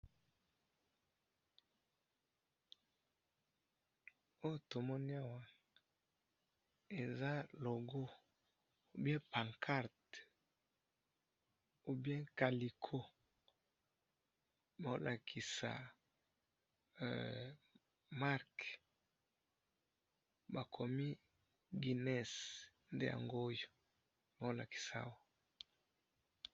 Awa na moni masanga ya guiness na kopo.